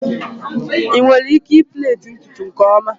ị nwere ike plait ntutu nke ọma?